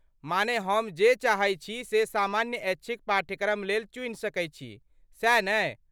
माने हम जे चाहै छी से सामान्य ऐच्छिक पाठ्यक्रम लेल चुनि सकै छी, सैह ने?